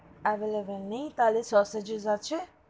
available নেই, তাহলে sauces আছে?